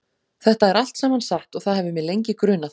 Þetta er allt saman satt og það hefur mig lengi grunað.